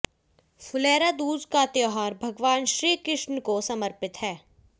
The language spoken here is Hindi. फुलेरा दूज का त्योहार भगवान श्री कृष्ण को समर्पित है